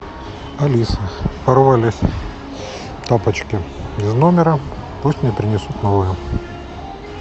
алиса порвались тапочки из номера пусть мне принесут новые